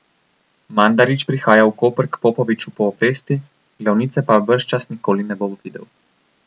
Mandarić prihaja v Koper k Popoviču po obresti, glavnice pa bržčas nikoli ne bo videl.